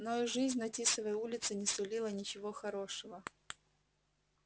но и жизнь на тисовой улице не сулила ничего хорошего